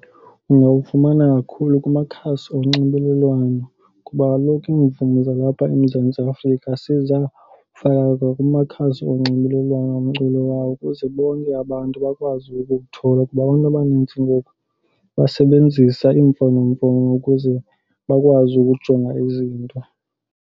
Ungawufumana kakhulu kumakhasi onxibelelwano kuba kaloku iimvumi zalapha eMzantsi Afrika sezafakwa kumakhasi onxibelelwano omculo wawo ukuze bonke abantu bakwazi ukukthola kuba abantu abanintsi ngoku basebenzisa iimfonomfono ukuze bakwazi ukujonga izinto.